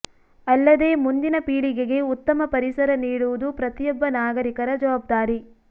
ಅಲ್ಲದೆ ಮುಂದಿನ ಪೀಳಿಗೆಗೆ ಉತ್ತಮ ಪರಿಸರ ನೀಡುವುದು ಪ್ರತಿಯೊಬ್ಬ ನಾಗರಿಕರ ಜವಾಬ್ದಾರಿ